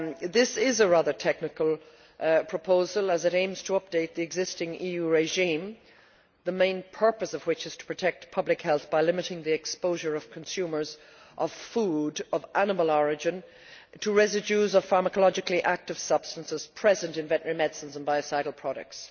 This is a rather technical proposal as it aims to update the existing EU regime, the main purpose of which is to protect public health by limiting the exposure of consumers of food of animal origin to residues of pharmacologically active substances present in veterinary medicines and biocidal products.